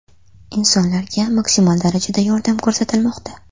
Insonlarga maksimal darajada yordam ko‘rsatilmoqda.